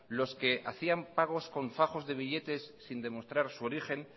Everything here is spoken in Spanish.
los que hacían pagos con fajos de billetes sin demostrar su origen